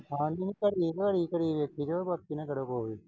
ਖਾਣ ਨੂੰ ਭਰੀ ਝੋਲੀ ਕਰੀ ਬੈਠੀ ਸੀ ਉਹ ਉਹਦੇ ਕੋਲ।